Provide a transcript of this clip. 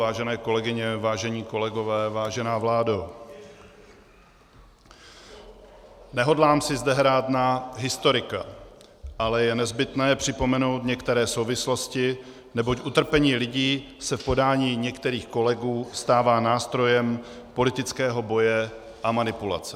Vážené kolegyně, vážení kolegové, vážená vládo, nehodlám si zde hrát na historika, ale je nezbytné připomenout některé souvislosti, neboť utrpení lidí se v podání některých kolegů stává nástrojem politického boje a manipulace.